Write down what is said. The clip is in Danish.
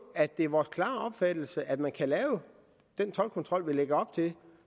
at det er vores klare opfattelse at man kan lave den toldkontrol vi lægger op til